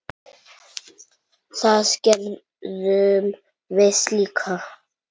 Það gerðum við líka.